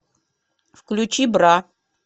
включи бра